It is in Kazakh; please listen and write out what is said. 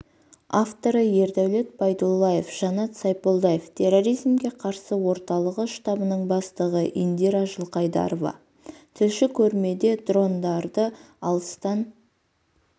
авторы ердәулет байдуллаев жанат сайполдаев терроризмге қарсы орталығы штабының бастығы индира жылқайдарова тілші көрмеде дрондарды алыстан